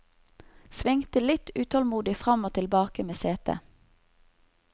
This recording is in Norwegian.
Svingte litt utålmodig fram og tilbake med setet.